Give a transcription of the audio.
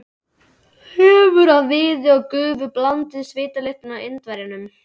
Þefur af viði og gufu blandaðist svitalyktinni af Indverjanum.